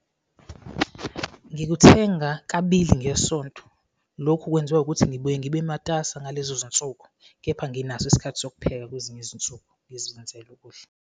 Ngikuthenga kabili ngesonto. Lokhu kwenziwa ukuthi ngibuye ngibe matasa ngalezo zinsuku kepha nginaso isikhathi sokupheka kwezinye izinsuku, ngizenzele ukudla.